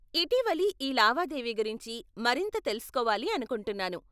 ఇటీవలి ఈ లావాదేవీ గురించి మరింత తెలుసుకోవాలి అనుకుంటున్నాను.